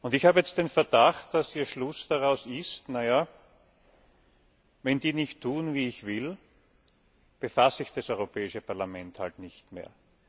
Ich habe jetzt den Verdacht, dass Ihr Schluss daraus ist Wenn die nicht tun, wie ich will, befasse ich das Europäische Parlament eben nicht mehr.